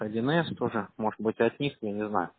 один с тоже может быть от них я не знаю